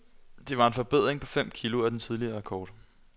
Det var en forbedring på fem kg af den tidligere rekord.